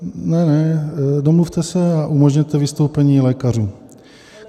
Domluvte se a umožněte vystoupení lékařů.